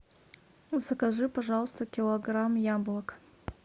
закажи пожалуйста килограмм яблок